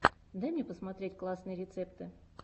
дай мне посмотреть классные рецепты